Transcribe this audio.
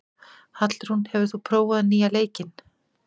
Hallrún, hefur þú prófað nýja leikinn?